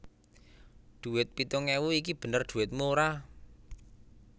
Dhuwit pitung ewu iki bener dhuwitmu ora